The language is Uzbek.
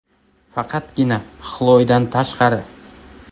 Faqatgina Xloidan tashqari.